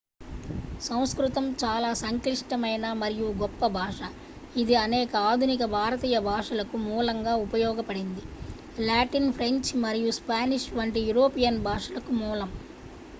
సంస్కృతం చాలా సంక్లిష్టమైన మరియు గొప్ప భాష ఇది అనేక ఆధునిక భారతీయ భాషలకు మూలంగా ఉపయోగపడింది లాటిన్ ఫ్రెంచ్ మరియు స్పానిష్ వంటి యూరోపియన్ భాషలకు మూలం